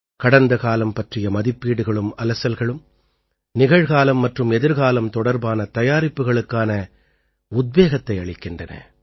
கடந்தகாலம் பற்றிய மதிப்பீடுகளும் அலசல்களும் நிகழ்காலம் மற்றும் எதிர்காலம் தொடர்பான தயாரிப்புக்களுக்கான உத்வேகத்தை அளிக்கின்றன